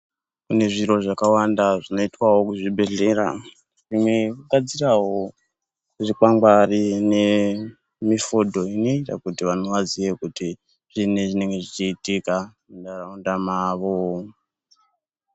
Kune zviro zvakawanda zvinoitwa kuchibhedhlera zvimwe kugadzirawo zvikwangwari nemifodho kuti vantu vaziye kuti zvinyi zvinenge zvichiitika munharaunda kwavo.